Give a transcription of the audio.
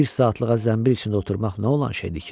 Bir saatlığa zənbil içində oturmaq nə olan şeydir ki?